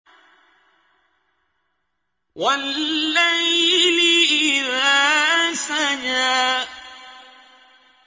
وَاللَّيْلِ إِذَا سَجَىٰ